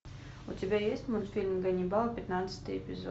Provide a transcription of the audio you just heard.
у тебя есть мультфильм ганнибал пятнадцатый эпизод